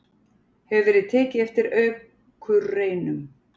hefur verið tekið eftir akurreinum.